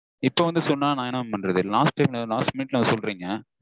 இப்போ வந்து சொன்னா நா என்ன mam பண்றது? last last minute -ல வந்து சொல்றீங்க